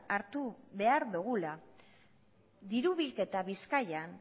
hartu behar dugula diru bilketa bizkaian